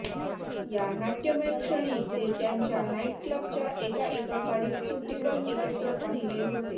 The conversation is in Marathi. या नाट्यमय क्षणी ते त्यांच्या नाइटक्लबच्या एका एका गाडीत सुट्टीवर एकत्र पाहिले होते